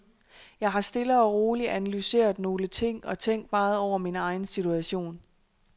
Jeg har stille og roligt analyseret nogle ting og tænkt meget over min egen situation.